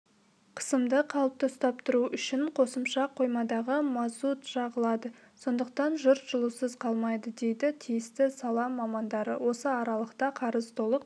қысымды қалыпты ұстап тұру үшін қосымша қоймадағы мазут жағылады сондықтан жұрт жылусыз қалмайды дейді тисіті сала мамандары осы аралықта қарыз толық